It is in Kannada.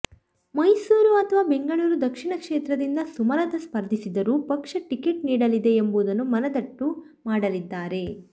ಮೈಸೂರು ಅಥವಾ ಬೆಂಗಳೂರು ದಕ್ಷಿಣ ಕ್ಷೇತ್ರದಿಂದ ಸುಮಲತಾ ಸ್ಫರ್ಧಿಸಿದರೂ ಪಕ್ಷ ಟಿಕೆಟ್ ನೀಡಲಿದೆ ಎಂಬುದನ್ನು ಮನದಟ್ಟು ಮಾಡಲಿದ್ದಾರೆ